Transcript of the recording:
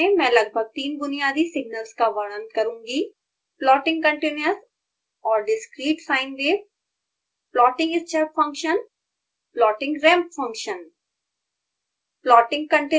इस ट्यूटोरियल में मैं लगभग 3 बुनियादी सिग्नल्स का वर्णन करूँगी plotting continuous और discrete sine wave plotting step function plotting ramp function